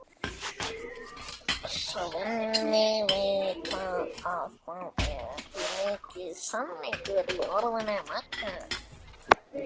Svenni veit að það er mikill sannleikur í orðum Möggu.